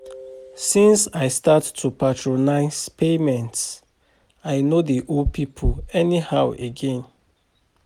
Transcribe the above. Since I start to prioritize payments, I no dey owe pipo anyhow again.